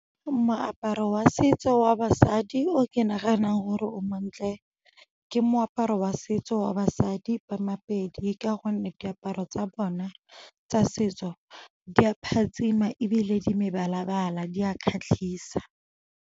Moaparo wa setso wa basadi o ke naganang gore o montle ke moaparo wa setso wa basadi ba ma-Pedi ka gonne diaparo tsa bona tsa setso di a phatsima ebile di mebala-bala di a kgatlhisa.